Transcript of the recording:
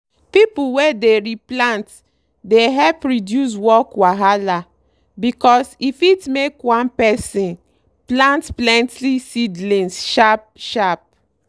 pipu wey the re plant dey help reduce work wahala because e fit make one person plant plenty seedlings sharp sharp.